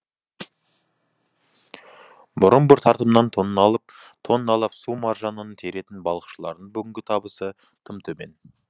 бұрын бір тартымнан тонналап су маржанын теретін балықшылардың бүгінгі табысы тым төмен